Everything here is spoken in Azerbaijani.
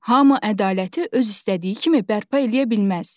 Hamu ədaləti öz istədiyi kimi bərpa eləyə bilməz.